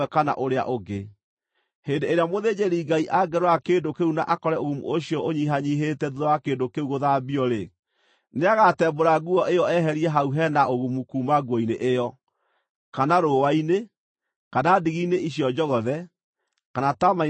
Hĩndĩ ĩrĩa mũthĩnjĩri-Ngai angĩrora kĩndũ kĩu na akore ũgumu ũcio ũnyihanyiihĩte thuutha wa kĩndũ kĩu gũthambio-rĩ, nĩagatembũra nguo ĩyo eherie hau he na ũgumu kuuma nguo-inĩ ĩyo, kana rũũa-inĩ, kana ndigi-inĩ icio njogothe, kana taama-inĩ ũcio mũtume.